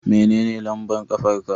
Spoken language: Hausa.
Menene lambar ƙafarka.